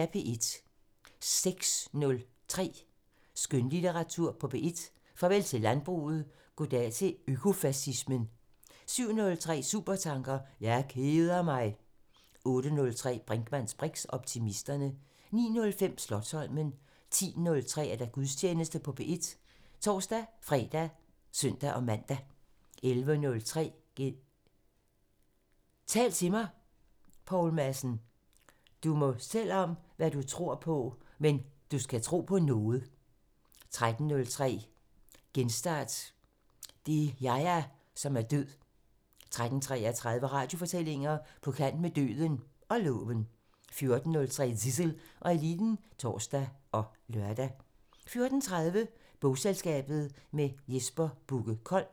06:03: Skønlitteratur på P1: Farvel til landbruget – goddag til økofacismen 07:03: Supertanker: Jeg keder mig! 08:03: Brinkmanns briks: Optimisterne 09:05: Slotsholmen 10:03: Gudstjeneste på P1 (tor-fre og søn-man) 11:03: Tal til mig – Poul Madsen: "Du må selv om hvad du tror på, men du skal tro på noget!" 13:03: Genstart: Det er Yahya, som er død 13:33: Radiofortællinger: På kant med døden – og loven 14:03: Zissel og Eliten (tor og lør) 14:30: Bogselskabet – med Jesper Bugge Kold